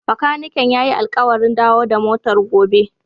Bakaniken ya yi alƙawarin dawo da motar gobe.